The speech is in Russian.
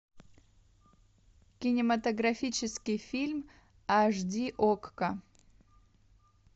кинематографический фильм аш ди окко